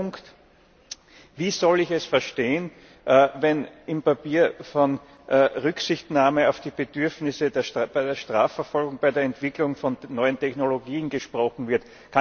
Dritter Punkt Wie soll ich es verstehen, wenn im Papier von Rücksichtnahme auf die Bedürfnisse der Strafverfolgung bei der Entwicklung von neuen Technologien gesprochen wird?